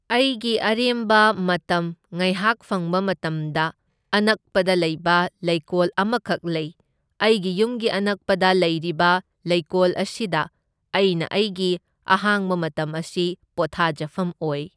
ꯑꯩꯒꯤ ꯑꯔꯦꯝꯕ ꯃꯇꯝ ꯉꯥꯏꯍꯥꯛ ꯐꯪꯕ ꯃꯇꯝꯗ ꯑꯅꯛꯄꯗ ꯂꯩꯕ ꯂꯩꯀꯣꯜ ꯑꯃꯈꯛ ꯂꯩ, ꯑꯩꯒꯤ ꯌꯨꯝꯒꯤ ꯑꯅꯛꯄꯗ, ꯂꯩꯔꯤꯕ ꯂꯩꯀꯣꯜ ꯑꯁꯤꯗ ꯑꯩꯅ ꯑꯩꯒꯤ ꯑꯍꯥꯡꯕ ꯃꯇꯝ ꯑꯁꯤ ꯄꯣꯊꯥꯖꯐꯝ ꯑꯣꯏ꯫